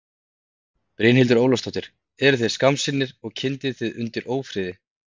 Brynhildur Ólafsdóttir: Eruð þið skammsýnir og kyndið þið undir ófriði?